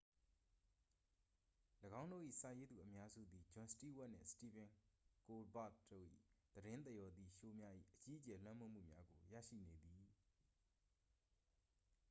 ၎င်းတို့၏ စာရေးသူအများစုသည် ဂျွန်စတီးဝပ်နှင့် စတီဗင်ကိုးလ်ဘာ့တ်တို့၏ သတင်းသရော်သည့်ရှိုးများ၏ အကြီးအကျယ်လွှမ်းမိုးမှုများကို ရရှိနေသည်